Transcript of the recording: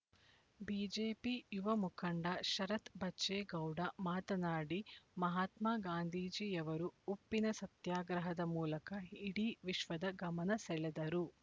BJP ಯುವ ಮುಖಂಡ ಶರತ್ ಬಚ್ಚೇಗೌಡ ಮಾತನಾಡಿ ಮಹಾತ್ಮ ಗಾಂಧೀಜಿಯವರು ಉಪ್ಪಿನ ಸತ್ಯಾಗ್ರಹದ ಮೂಲಕ ಇಡೀ ವಿಶ್ವದ ಗಮನಸೆಳೆದರು